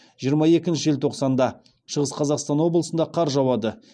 жиырма екінші желтоқсанда шығыс қазақстан облысында қар жауады